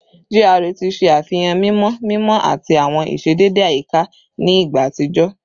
GRA ti ṣe afihan mimọ mimọ ati awọn iṣedede ayika ni igba atijọ